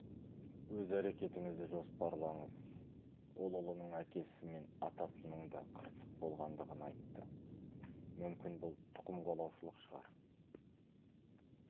өз әрекетіңізді жоспарлаңыз ол ұлының әкесі мен атасының да қырсық болғандығын айтты мүмкін бұл тұқымқуалаушылық шығар